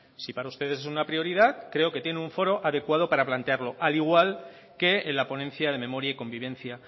si para ustedes es una prioridad creo que tienen un foro adecuado para plantearlo al igual que en la ponencia de memoria y convivencia